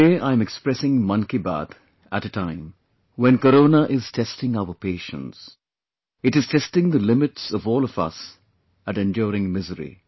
Today, I am expressing Mann Ki Baat at a time when Corona is testing our patience; it is testing the limits of all of us at enduring misery